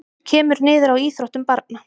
Kemur niður á íþróttum barna